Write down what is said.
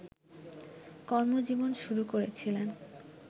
কর্মজীবন শুরু করেছিলেন